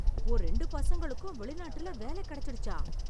உன் ரெண்டு பசங்களுக்கும் வெளிநாட்டுல வேலை கெடைச்சிடுச்சா...